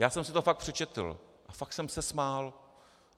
Já jsem si to fakt přečetl a fakt jsem se smál.